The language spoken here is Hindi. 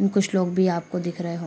एंड कुछ लोग भी आपको दिख रहे हो --